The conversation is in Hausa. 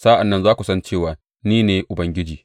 Sa’an nan za ku san cewa ni ne Ubangiji.’